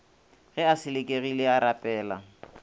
ge a selekegile a rapela